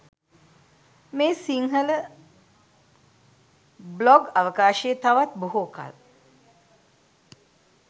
මේ සිංහල බ්ලොග් අවකාශයේ තවත් බොහෝ කල්